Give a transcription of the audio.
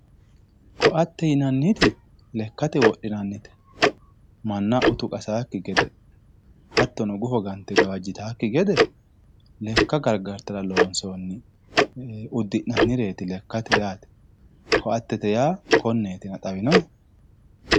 ko"atte yinanniti lekkate wodhinannite manna utu qasawookki gede hattono buko gante gawajjitannokki gede lekka gargartara loosnoonni uddi'nannireeti lekkate yaate ko"attete yaa konneetina xawinohe